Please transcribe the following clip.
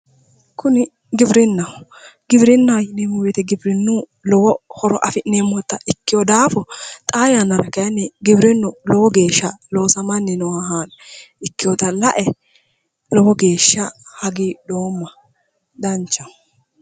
kuni giwirinnaho giwirinnaho yineemmo woyte giwirinna yineemmo woyite giwirinnuyiwi lowo horo afi'neemmota ikkeewo daafo xaa yannara giwirinnu lowo geeshsha loosamanni nooha ikeewota lae lowo geeshsha hagiidhoomma danchaho.